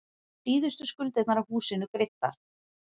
Síðustu skuldirnar af húsinu greiddar.